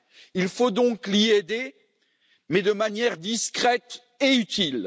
Il faut donc l'y aider, mais de manière discrète et utile.